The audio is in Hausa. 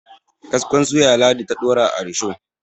kaskon suya ladi ta Dora a rusho